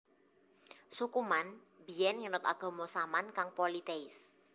Suku Man biyen ngenut agama Saman kang politeis